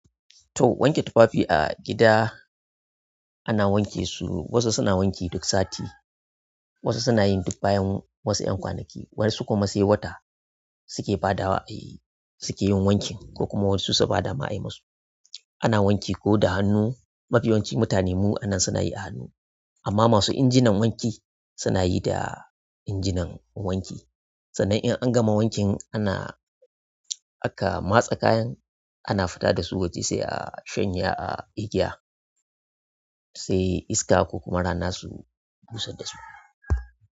To wanke tufafi a gida ana wanke su, wasu suna wanke duk sati, wasu suna yin duk bayan wasu 'yan kwanaki, wasu kuma sai wata suke badawa, eh suke yin wankin ko kuma wasu su bada ma ayimasu. Ana wanki ko da hannu, mafi yawancin mutanen mu a nan suna yi a hannu amma masu injinan wanki suna yi da injinan wanki. Sannan in an gama wankin ana aka matse kayan, ana fita da su wacce sai a shanya a igiya. Eh. Iska ko kuma rana su busar da su.